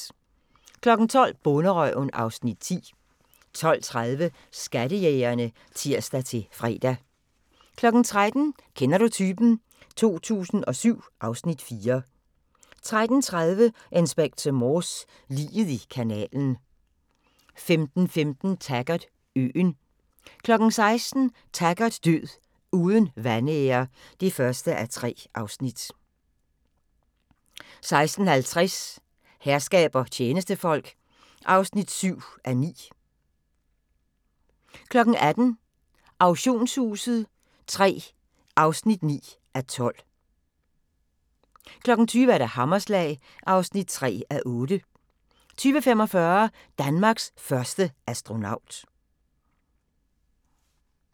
12:00: Bonderøven (Afs. 10) 12:30: Skattejægerne (tir-fre) 13:00: Kender du typen? 2007 (Afs. 4) 13:30: Inspector Morse: Liget i kanalen 15:15: Taggart: Øen 16:00: Taggart Død uden vanære (1:3) 16:50: Herskab og tjenestefolk (7:9) 18:00: Auktionshuset III (9:12) 20:00: Hammerslag (3:8) 20:45: Danmarks første astronaut